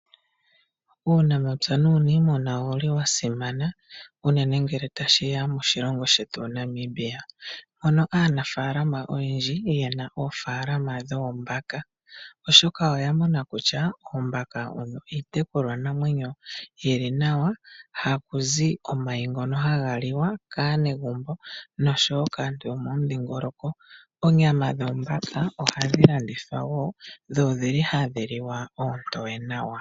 Uunamapya nuuniimuna owuli wa simana unene ngele ta shiya moshilongo shetu Namibia . Aanafaalalama oye li ye na oofaalalama dhoombaka oshoka oyamona okutya oombaka odho iitekulwa namwenyo iimanawa, ha ku zi omayi ngono ha ga liwa kaanegumbo no sho wo kaantu yo mo mudhingoloko. Oonyama dhoombaka oha dhi landithwa woo nodhili ha dhi li hadhi liwa oontoye nawa.